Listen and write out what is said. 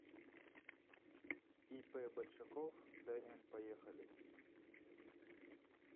ип большаков дм поехали